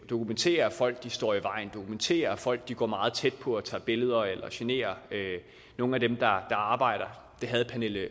dokumentere at folk står i vejen dokumentere at folk går meget tæt på og tager billeder eller generer nogle af dem der arbejder